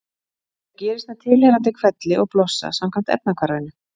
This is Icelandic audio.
Það gerist með tilheyrandi hvelli og blossa samkvæmt efnahvarfinu: